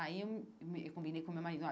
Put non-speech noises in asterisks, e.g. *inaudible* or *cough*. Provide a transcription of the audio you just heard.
Aí, eu me eu combinei com o meu marido. *unintelligible*